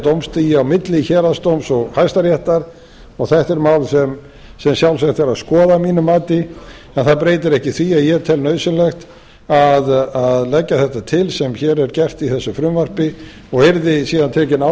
dómstigi á milli héraðsdóms og hæstaréttar þetta er mál sem sjálfsagt er að skoða að mínu mati en það breytir ekki því að ég tel nauðsynlegt að leggja þetta til sem hér er gert í þessu frumvarpi og yrði síðan tekin ákvörðun